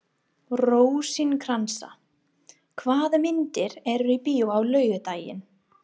Rósinkransa, hvaða myndir eru í bíó á laugardaginn?